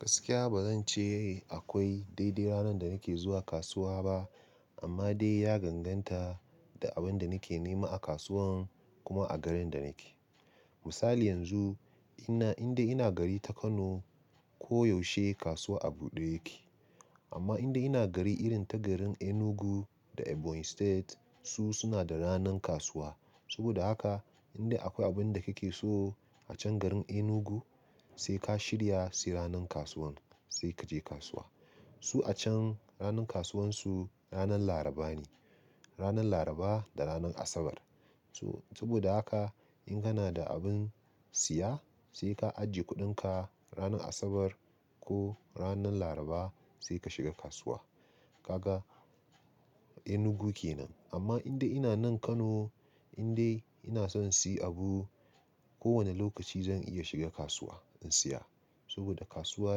Gaskiya ba zan ce akwai daidai ranar da nake zuwa kasuwa ba amma dai ya ganganta da abin da nake nema a kasuwan kuma a garin da nake. Misali yanzu indai ina gari ta Kano ko yaushe kasuwa a buɗe yake. Amma indai ina gari irin ta garin Enugu da Ebonyi State su suna da ranan kasuwa. Saboda haka indai akwai abin da kake so a can garin Enugu sai ka shirya sai ranan kasuwan sai kaje kasuwa. Su a can ranan kasuwan su ranan Laraba ne, ranan Laraba da ranan Asabar. So saboda haka in kana da abin siya sai ka ajiye kuɗinka ranan Asabar ko ranan Laraba sai ka shiga kasuwa. Kaga Enugu kenan. Amma in dai ina nan Kano, in dai ina son in siyi abu ko wani lokaci zan iya shiga kasuwa in siya saboda kasuwa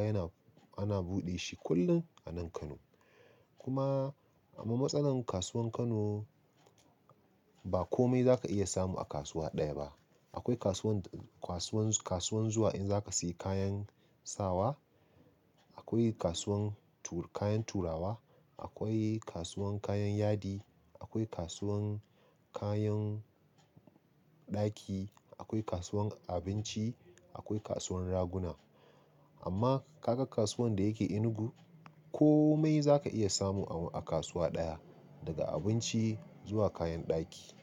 yana, ana buɗe shi kullum a nan Kano. Kuma amma matsalar kasuwan Kano ba komai zaka iya samu a kasuwa ɗaya ba. Akwai kasuwan, kasuwan, kasuwan zuwa in zaka sayi kayan sawa, akwai kasuwan kayan turawa, akwai kasuwan kayan yadi, akwai kasuwan kayan ɗaki, akwai kasuwan abinci, akwai kasuwan raguna. Amma kaga kasuwan da yake Enugu komai zaka iya samu a kasuwa ɗaya daga abinci zuwa kayan ɗaki.